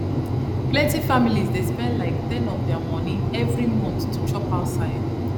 plenty families dey spend like ten of their money every month to chop outside